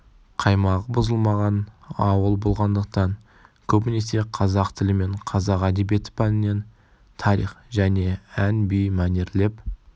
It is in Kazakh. қаймағы бұзылмаған ауыл болғандықтан көбінесе қазақ тілі мен қазақ әдебиеті пәнінен тарих және ән би мәнерлеп